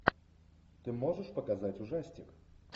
ты можешь показать ужастик